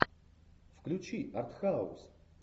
включи артхаус